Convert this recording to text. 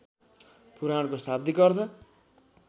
पुराणको शाब्दिक अर्थ